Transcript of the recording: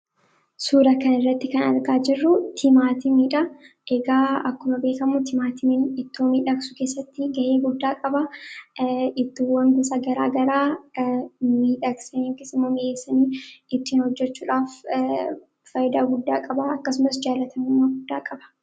Suura kana irratti kan argaa jirru timaatimiidha. Egaa akkuma beekamu ittoo mi'eessuu keessatti gahee guddaa qaba. Ittoo gosa garaa garaa mi'eessanii itti hojjechudhaaf bu'aa guddaa qaba. Akkasumas jaallatamummaa guddaa qaba.